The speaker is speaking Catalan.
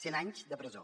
cent anys de presó